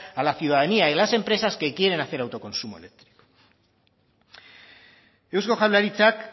a la ciudadanía y las empresas que quieren hacer autoconsumo eléctrico eusko jaurlaritzak